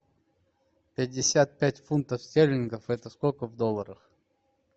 пятьдесят пять фунтов стерлингов это сколько в долларах